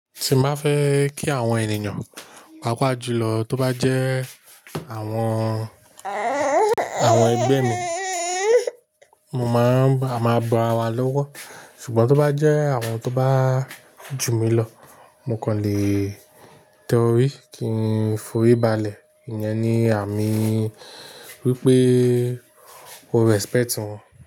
Ti n bá fẹ kí àwọn ènìyàn, pàápàá jùlọ tó bá jẹ́ àwọn, àwọn ẹgbẹ́ mi, mo máa ń, a máa bo ara wa lọ́wọ́. Ṣùgbọ́n tó bá jẹ́ àwọn tó bá jù mí lọ, mo kòn lè tẹ orí kí n forí balẹ̀. Ìyẹn ni àmì wípé o respect wọn.